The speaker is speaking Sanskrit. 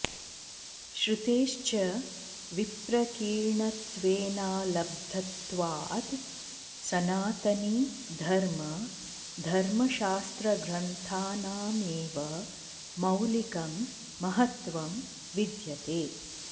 श्रुतेश्च विप्रकीर्णत्वेनालब्धत्वात् सनातनी धर्म धर्मशास्त्रग्रन्थानामेव मौलिकं महत्त्वं विद्यते